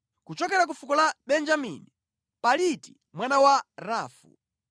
kuchokera ku fuko la Benjamini, Paliti mwana wa Rafu;